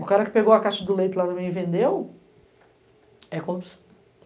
O cara que pegou a caixa do leite lá também e vendeu é corrupção.